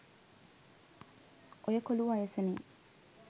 ඔය කොලු වයසනේ